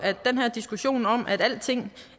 den her diskussion om at alting